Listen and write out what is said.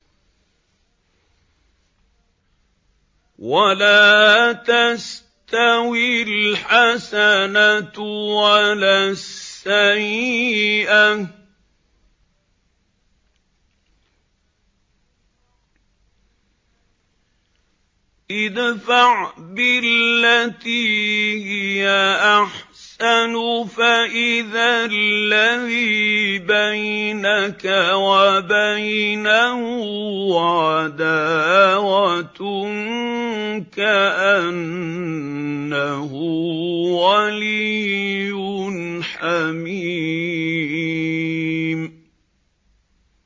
وَلَا تَسْتَوِي الْحَسَنَةُ وَلَا السَّيِّئَةُ ۚ ادْفَعْ بِالَّتِي هِيَ أَحْسَنُ فَإِذَا الَّذِي بَيْنَكَ وَبَيْنَهُ عَدَاوَةٌ كَأَنَّهُ وَلِيٌّ حَمِيمٌ